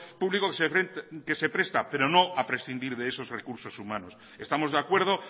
público que se presta pero no a prescindir de esos recursos humanos estamos de acuerdo